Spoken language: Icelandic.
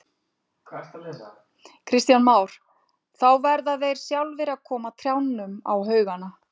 Kristján Már: Þá verða þeir sjálfir að koma trjánum á haugana?